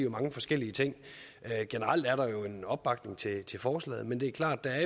mange forskellige ting generelt er der jo en opbakning til forslaget men det er klart at